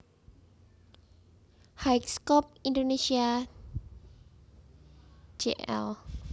High/ Scope Indonesia Jl